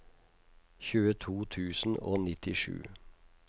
tjueto tusen og nittisju